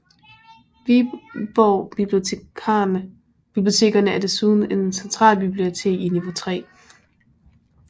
Viborg Bibliotekerne er desuden centralbibliotek i niveau 3